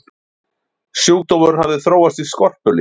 sjúkdómurinn hafði þróast í skorpulifur